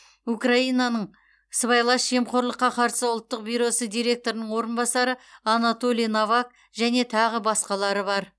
украинаның сыбайлас жемқорлыққа қарсы ұлттық бюросы директорының орынбасары анатолий новак және тағы басқалары бар